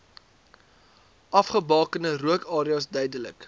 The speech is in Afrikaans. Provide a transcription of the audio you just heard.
afgebakende rookareas duidelik